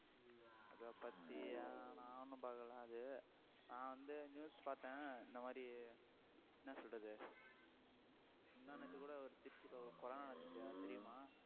அதைப்பத்தி நான் ஒண்ணும் பார்க்கலை அது நான் வந்து news பார்த்தேன் இந்த மாதிரி என்ன சொல்றது முந்தா நேத்து கூட ஒரு திருச்சியில ஒரு கொலை நடந்துச்சு அது தெரியுமா